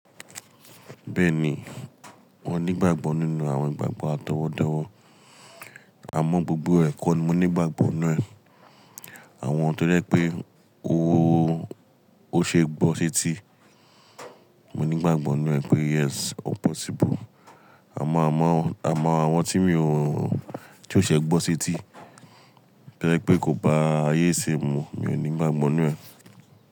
Bẹ́ẹ̀ni, mo ní gbàgbọ́ nínú àwọn ìgbàgbọ́ atọwọdọwọ. A mọ gbogbo ẹ̀kọ́ ni mo ni igbàgbọ́ ninu ẹ, àwọn tó jẹ́ pé ó ṣe é gbọ́ s'eti, mo nígbàgbọ́ n nu ẹ pé "Yes, possible." Àmọ́, àwọn tí mi ò, tí ó ṣẹ gbọ́ s'eti, to jẹ pé kò bá ayé isìn mu, mi ò nígbàgbọ́ nínu rẹ̀.